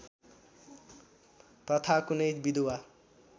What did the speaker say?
प्रथा कुनै विधुवा